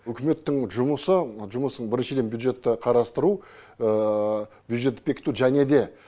үкіметтің жұмысы жұмысын біріншіден бюджетті қарастыру бюджетті бекіту және де